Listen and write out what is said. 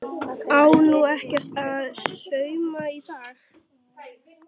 Á nú ekkert að sauma í dag?